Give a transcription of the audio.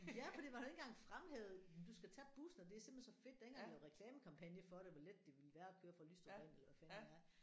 Ja fordi man har ikke engang fremhævet du skal tage bussen og det er simpelthen så fedt der er ikke engang lavet reklamekampagne for det hvor let det ville være at køre fra Lystrup og ind eller hvad fanden ved jeg